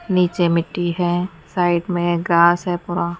नीचे मिट्टी है साइड मे घास है पड़ा--